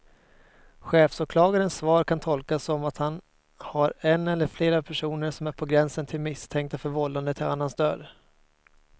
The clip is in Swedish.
Chefsåklagarens svar kan tolkas som att han har en eller flera personer som är på gränsen till misstänkta för vållande till annans död.